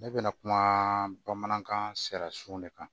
Ne bɛna kuma bamanankan sera sun de kan